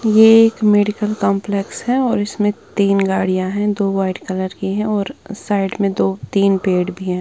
ये एक medical complex है और इसमें तीन गाड़ियां हैं दो वाइट कलर की है और साइड में दो तीन पेड़ भी है।